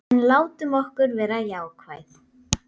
En látum okkur vera jákvæð.